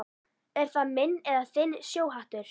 Er það minn eða þinn sjóhattur